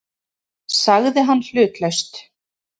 sagði hann hlutlaust.